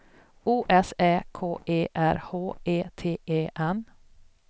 O S Ä K E R H E T E N